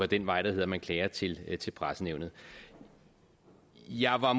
den vej der hedder at man klager til til pressenævnet jeg var